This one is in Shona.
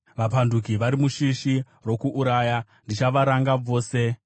Vapanduki vari mushishi rokuuraya. Ndichavaranga vose.